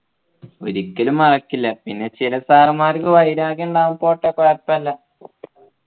ഒരിക്കലും മറക്കില്ല പിന്നെ ചില sir മ്മാർക്ക് വൈരാഗ്യം ഉണ്ടാകും പോട്ടെ കുഴപ്പമില്ല